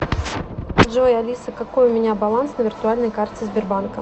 джой алиса какой у меня баланс на виртуальной карте сбербанка